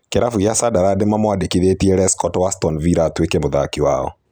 Kiravũ gia Sunderland nĩ nĩ mamwandĩkĩthitie Lescott wa Aston Villa atuike mũthaki wao.